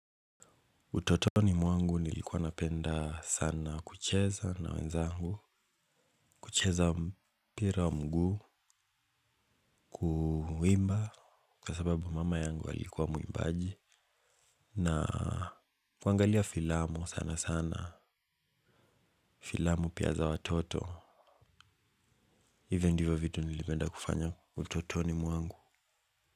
Utotoni mwangu nilikuwa napenda sana kucheza na wenzangu. Kucheza mpira wa mguu, kuimba kwa sababu mama yangu walikuwa muimbaji. Na kuangalia filamu sana sana. Filamu pia za watoto. Hivi ndivyo vitu nilipenda kufanya utotoni mwangu.